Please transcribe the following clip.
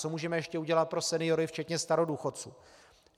Co můžeme ještě udělat pro seniory včetně starodůchodců?